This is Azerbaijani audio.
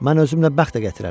Mən özümlə bəxt də gətirərəm.